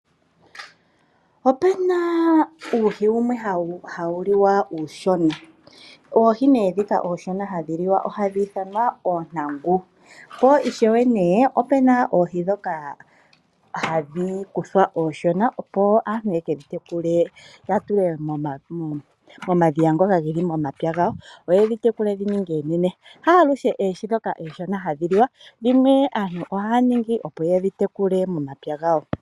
Opuna oohi wumwe hawu liwa uushona oohi nee dhika hadhiliwa ooshona ohadhi ithanwa oontangu po ishewe nee opuna oohi dhoka handhi kuthwa ooshona opo aantu yekedhi tekule yatule momadhiya ngoka geli momapya gawo, yoye ndhi tekule ndhininge oonene. Haa luhe oohi ndhoka ooshona hadhi liwa dhimwe aantu ohaa ningi opo yedhi tekule momapya gawo.